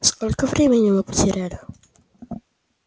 сколько времени мы потеряли